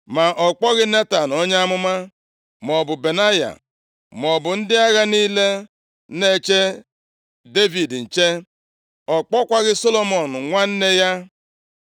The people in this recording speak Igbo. ma ọ kpọghị Netan onye amụma, maọbụ Benaya, maọbụ ndị agha niile na-eche Devid nche. Ọ kpọkwaghị Solomọn nwanne ya.